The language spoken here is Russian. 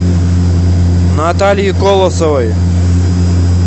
наталье колосовой